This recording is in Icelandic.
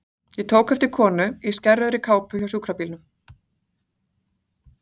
Ég tók eftir konu í skærrauðri kápu hjá sjúkrabílnum.